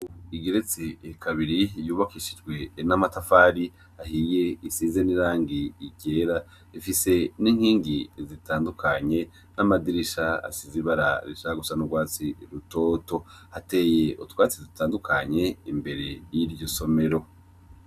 Igeretse kabiri yubakishijwe n'amatafari ahiye, isize n'irangi ryera, ifise n'inkingi zitandukanye n'amadirisha asize ibara rishaka gusa n'urwatsi rutoto. Hateye utwatsi dutandukanye imbere y'iryo somero.